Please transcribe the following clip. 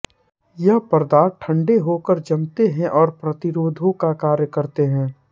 ये पदार्थ ठंडे होकर जमते और प्रतिरोधो का कार्य करते हैं